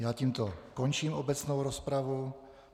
Já tímto končím obecnou rozpravu.